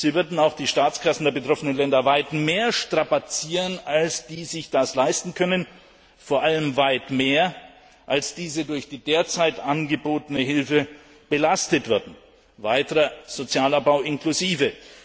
Sie würden auch die Staatskassen der betroffenen Länder weit mehr strapazieren, als die sich das leisten können, vor allem weit mehr, als diese durch die derzeit angebotene Hilfe belastet würden, weiterer Sozialabbau inklusive.